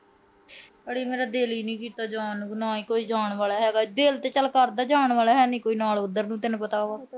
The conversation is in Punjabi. ਮੇਰਾ ਦਿਲ ਈ ਨੀ ਕੀਤਾ ਜਾਣ ਨੂੰ। ਨਾ ਕੋਈ ਜਾਣ ਆਲਾ ਹੈਗਾ। ਦਿਲ ਤਾਂ ਚਲ ਕਰਦਾ, ਜਾਣ ਆਲਾ ਹੈ ਨੀ ਕੋਈ ਨਾਲ ਉਧਰ ਨੂੰ, ਤੈਨੂੰ ਤਾਂ ਪਤਾ ਈ ਐ।